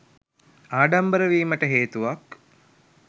ආඩම්බර වීමට හේතුවක්.